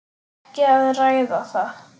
Ekki að ræða það.